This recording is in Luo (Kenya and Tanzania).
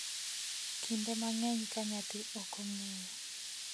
kinde mang’eny ka nyathi ok ong’eyo.